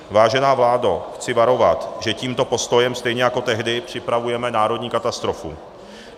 Vážená vládo, chci varovat, že tímto postojem stejně jako tehdy připravujeme národní katastrofu.